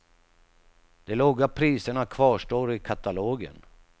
De låga priserna kvarstår i katalogen.